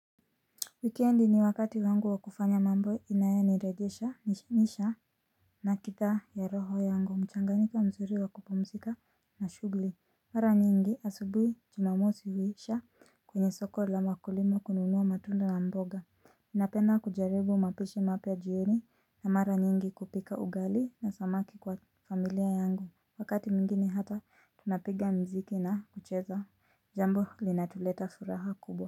Weekend ni wakati wangu wakufanya mambo inayoniregeshanisha na kita ya roho yangu mchanganyiko mzuri wa kupumzika na shughuli. Mara nyingi asubui jumamosi huisha kwenye soko la makulimo kununuwa matundo na mboga. Napenda kujaribu mapishi mapya jioni na mara nyingi kupika ugali na samaki kwa familia yangu. Wakati mwingine hata tunapiga mziki na kucheza jambo linatuleta furaha kubwa.